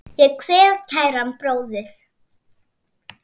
Ég kveð kæran bróður.